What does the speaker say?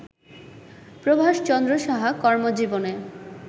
প্রভাষ চন্দ্র সাহা কর্মজীবনে